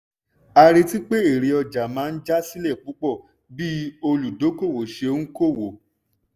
a retí pé èrè ọjà máa já sílẹ̀ púpọ̀ bí olùdókóòwò ṣe ń kówó.